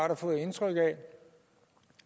har fået indtryk af